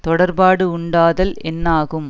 தொடர்ப்பாடு உண்டாதல் என்னாகும்